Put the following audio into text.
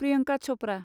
Priyanka Chopra